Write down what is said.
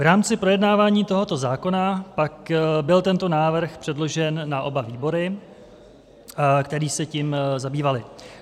V rámci projednávání tohoto zákona pak byl tento návrh předložen na oba výbory, které se tím zabývaly.